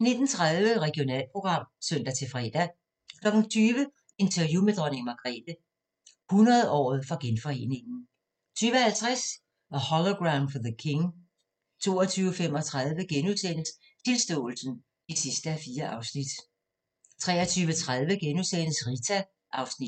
19:30: Regionalprogram (søn-fre) 20:00: Interview med dronning Margrethe - 100-året for Genforeningen 20:50: A Hologram for the King 22:35: Tilståelsen (4:4)* 23:30: Rita (Afs. 2)*